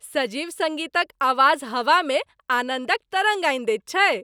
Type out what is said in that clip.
सजीव सङ्गीतक आवाज हवामे आनन्दक तरङ्ग आनि दैत छैक।